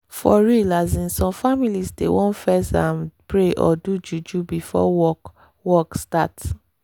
for real asin some families dey want fess um pray or do juju before work work start